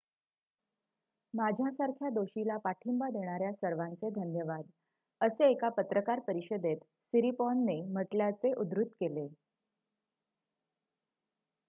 माझ्यासारख्या दोषीला पाठिंबा देणाऱ्या सर्वांचे धन्यवाद'' असे एका पत्रकार परिषदेत सिरिपॉर्नने म्हटल्याचे उद्धृत केले